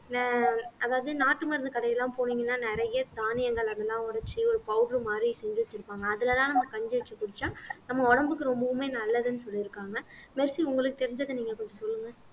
ஆஹ் அதாவது நாட்டு மருந்து கடை எல்லாம் போனீங்கன்னா நிறைய தானியங்கள் அதெல்லாம் உடைச்சு ஒரு powder மாதிரி செஞ்சு வெச்சிருப்பாங்க அதுலதான் நம்ம கஞ்சி வச்சி குடிச்சா நம்ம உடம்புக்கு ரொம்பவுமே நல்லதுன்னு சொல்லிருக்காங்க மெர்சி உங்களுக்கு தெரிஞ்சதை நீங்க கொஞ்சம் சொல்லுங்க